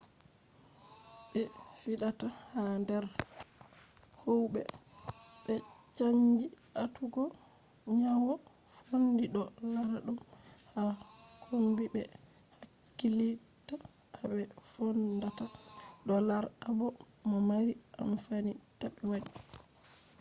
be fidata ha der howube be canji atugo nyawo fondi do lara dum ha kombi be hakkilitta ha be fondata do lar abo do mari amfani tabe wadi